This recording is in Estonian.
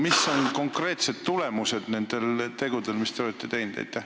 Mis on aga konkreetsed tulemused nendel tegudel, mis te olete teinud?